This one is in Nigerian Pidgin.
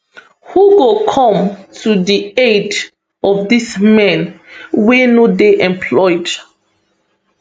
who go come to di aid of dis men wey no dey employed